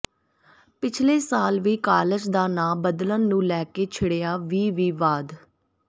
ਪਿਛਲੇ ਸਾਲ ਵੀ ਕਾਲਜ ਦਾ ਨਾਂ ਬਦਲਣ ਨੂੰ ਲੈ ਕੇ ਛਿੜਿਆ ਵੀ ਵਿਵਾਦ